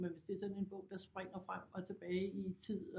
Men hvis det er sådan en bog der springer frem og tilbage i tid